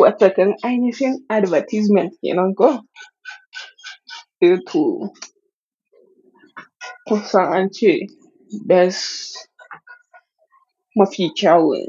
Wataƙan ai nafi advertisement kenanko. To to. Kusa ance bas mafi kyau ne